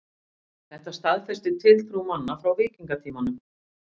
Þetta staðfestir tiltrú manna frá víkingatímanum.